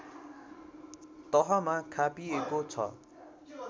तहमा खापिएको छ